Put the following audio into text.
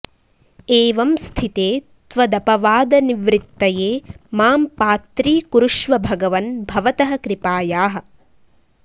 एवं स्थिते त्वदपवादनिवृत्तये मां पात्रीकुरुष्व भगवन् भवतः कृपायाः